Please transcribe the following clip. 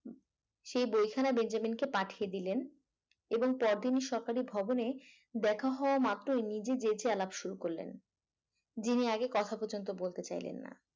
সেই বইখানা বেঞ্জামিন কে পাঠিয়ে দিলেন এবং পর দিন সকালে ভবনে দেখা হওয়া মাত্র নিজে যেচে আলাপ শুরু করলেন যিনি আগে কথা পর্যন্ত বইতে চাইলেন না